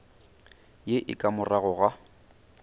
ye e ka morago ga